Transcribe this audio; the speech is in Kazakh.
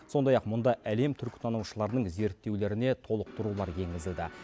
сондай ақ мұнда әлем түркітанушыларының зерттеулеріне толықтырулар енгізілді